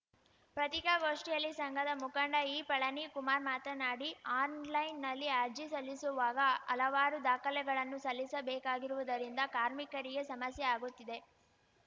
ಪತ್ರಿಕಾಗೋಷ್ಠಿಯಲ್ಲಿ ಸಂಘದ ಮುಖಂಡ ಇ ಪಳನಿಕುಮಾರ್‌ ಮಾತನಾಡಿ ಆನ್‌ಲೈನ್‌ನಲ್ಲಿ ಅರ್ಜಿ ಸಲ್ಲಿಸುವಾಗ ಹಲವಾರು ದಾಖಲೆಗಳನ್ನು ಸಲ್ಲಿಸಬೇಕಾಗಿರುವುದರಿಂದ ಕಾರ್ಮಿಕರಿಗೆ ಸಮಸ್ಯೆ ಆಗುತ್ತಿದೆ